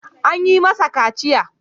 An yi masa kaciya.